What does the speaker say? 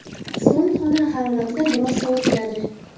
So‘ng xona haroratida biroz sovitiladi.